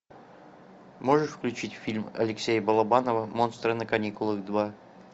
можешь включить фильм алексея балабанова монстры на каникулах два